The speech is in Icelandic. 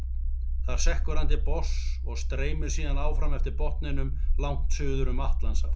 Þar sekkur hann til botns og streymir síðan áfram eftir botninum langt suður um Atlantshaf.